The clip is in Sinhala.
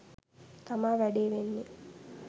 තමා වැඩේ වෙන්නේ